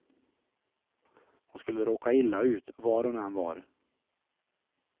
Hon skulle råka illa ut var hon än var.